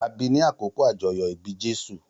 A bi ni àkókò ajoyọ ibi Jésù.